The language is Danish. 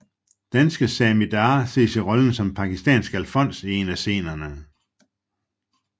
Danske Sami Darr ses i rollen som en pakistansk alfons i en af scenerne